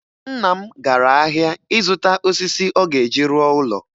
Nna m gara ahịa ịzụta osisi ọ ga-eji rụọ ụlọ.